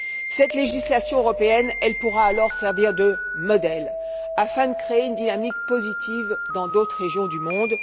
Cette législation européenne pourra alors servir de modèle afin de créer une dynamique positive dans d'autres régions du monde.